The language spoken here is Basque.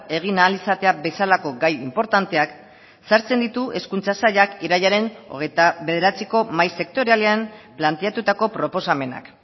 egin ahal izatea bezalako gai inportanteak sartzen ditu hezkuntza sailak irailaren hogeita bederatziko mahai sektorialean planteatutako proposamenak